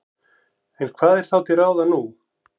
En hvað er þá til ráða nú?